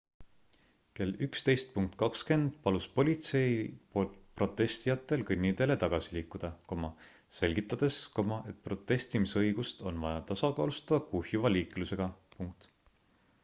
kell 11.20 palus politsei protestijatel kõnniteele tagasi liikuda selgitades et protestimisõigust on vaja tasakaalustada kuhjuva liiklusega